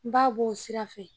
N b'a bɔ o sira fɛ